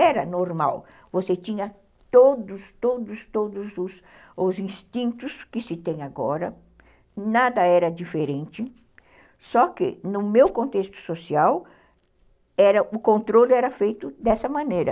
Era normal, você tinha todos todos todos os instintos que se tem agora, nada era diferente, só que no meu contexto social, era, o controle era feito dessa maneira.